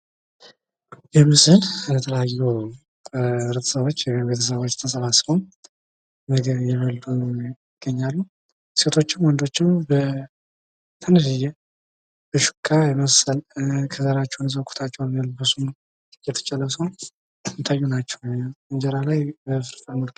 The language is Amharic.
ይህ ምስል የተለያዩ ማህበረሰብ ተሰባስበው እየበሉ ይገኛሉ። ሴቶችም ወንዶችም በሹካ መሰል ኩታቸውን ለብሰው ከዘራቸውን ይዘው የሚታዩ ናቸው ።